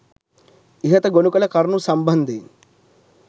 ඉහත ගොණුකළ කරුණු සම්බන්ධයෙන්